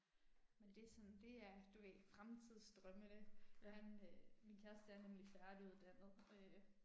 Men det er sådan det er, du ved, fremtidsdrømmene han øh min kæreste er nemlig færdiguddannet øh